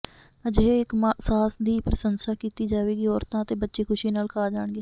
ਅਜਿਹੇ ਇੱਕ ਸਾਸ ਦੀ ਪ੍ਰਸ਼ੰਸਾ ਕੀਤੀ ਜਾਵੇਗੀ ਔਰਤਾਂ ਅਤੇ ਬੱਚੇ ਖੁਸ਼ੀ ਨਾਲ ਖਾ ਜਾਣਗੇ